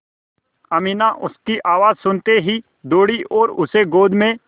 अमीना उसकी आवाज़ सुनते ही दौड़ी और उसे गोद में